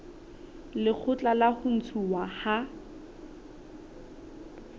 lekgotla la ho ntshuwa ha